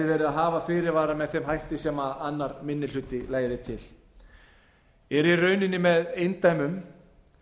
verið að hafa fyrirvara með þeim hætti sem annar minni hluti legði til er í rauninni með eindæmum